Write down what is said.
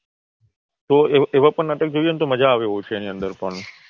તો એવા પણ નાટક જોઈને તો પણ મજા આવે એવું છે એની અંદર પણ